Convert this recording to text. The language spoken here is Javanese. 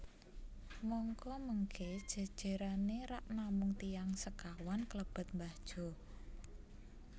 Mangka mengke jejerane rak namung tiyang sekawan klebet Mbah Jo